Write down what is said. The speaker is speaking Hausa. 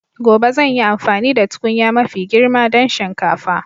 Gobe zan yi amfani da tukunya mafi girma don shinkafa.